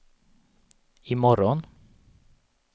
imorgon